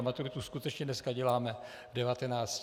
A maturitu skutečně dneska děláme v 19 letech.